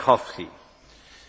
Panie przewodniczący!